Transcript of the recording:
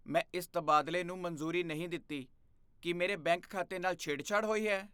ਮੈਂ ਇਸ ਤਬਾਦਲੇ ਨੂੰ ਮਨਜ਼ੂਰੀ ਨਹੀਂ ਦਿੱਤੀ। ਕੀ ਮੇਰੇ ਬੈਂਕ ਖਾਤੇ ਨਾਲ ਛੇੜਛਾੜ ਹੋਈ ਹੈ?